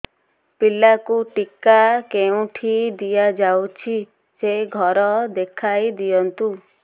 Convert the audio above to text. ପିଲାକୁ ଟିକା କେଉଁଠି ଦିଆଯାଉଛି ସେ ଘର ଦେଖାଇ ଦିଅନ୍ତୁ